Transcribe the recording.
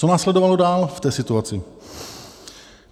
Co následovalo dál v té situaci?